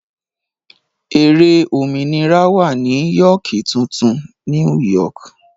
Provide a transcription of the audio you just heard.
Ère òmìnira wà ní Yóókì tuntun ( New York).